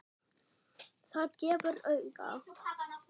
Það gefur auga leið